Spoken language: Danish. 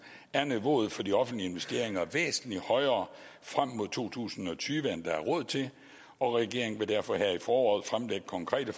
er niveauet for de offentlige investeringer væsentlig højere frem mod to tusind og tyve end der er råd til og regeringen vil derfor her i foråret fremlægge konkrete